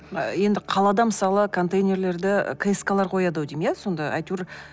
енді қалада мысалы контейнерлерді кэскалар қояды ау деймін иә сонда әйтеуір